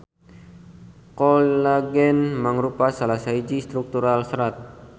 Kolagen mangrupa salah sahiji struktural serat.